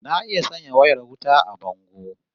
Na iya sanya wayar wuta a bango